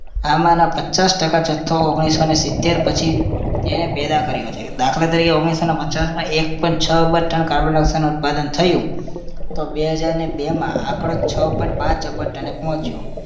આમાંના પચાસ ટકા જથ્થો ઓગણીસો ને સિત્તેર પછી ઈને પેદા કર્યો છે દાખલા તરીકે ઓગણીસો ને પચાસમાં એક point છ અબજ ton carbon dioxide નું ઉત્પાદન થયું તો બે હજારને બેમાં આંકડો છ point પાંચ અબજ ton એ પહોંચ્યો